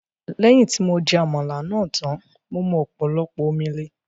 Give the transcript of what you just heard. Lẹ́yìn tí mo jẹ Àmàlà náà tán, mo mu ọ̀pọ̀lọpọ̀ omi le